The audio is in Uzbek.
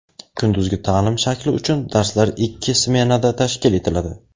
Kunduzgi ta’lim shakli uchun darslar ikki smenada tashkil etiladi.